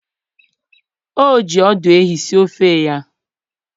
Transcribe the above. o ji ọdụ ehi sie ofe ya